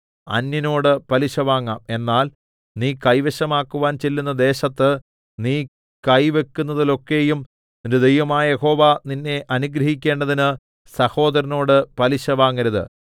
അന്യനോട് പലിശ വാങ്ങാം എന്നാൽ നീ കൈവശമാക്കുവാൻ ചെല്ലുന്ന ദേശത്ത് നീ കൈവയ്ക്കുന്നതിലൊക്കെയും നിന്റെ ദൈവമായ യഹോവ നിന്നെ അനുഗ്രഹിക്കേണ്ടതിന് സഹോദരനോട് പലിശ വാങ്ങരുത്